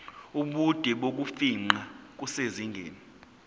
ubude bokufingqa kusezingeni